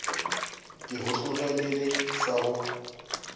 ke go tlogelele sa go